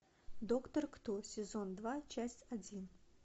доктор кто сезон два часть один